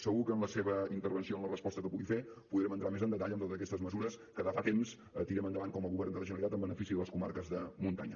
segur que en la seva intervenció en la resposta que pugui fer podrem entrar més en detall en totes aquestes mesures que des de fa temps tirem endavant com a govern de la generalitat en benefici de les comarques de muntanya